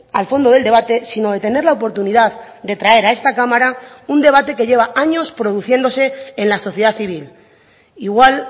al fondo del debate sino de tener la oportunidad de traer a esta cámara un debate que lleva años produciéndose en la sociedad civil igual